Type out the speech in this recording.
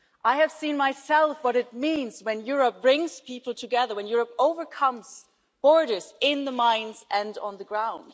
I have seen for myself what it means when Europe brings people together, when Europe overcomes borders in the mines and on the ground.